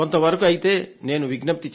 అంతే నేను విజ్ఞప్తి చేసేది